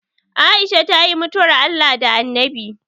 Aisha ta yi mutuwar Allah da Anabi